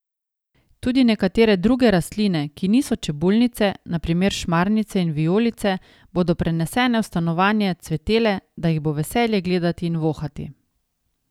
Tudi nekatere druge rastline, ki niso čebulnice, na primer šmarnice in vijolice, bodo prenesene v stanovanje cvetele, da jih bo veselje gledati in vohati.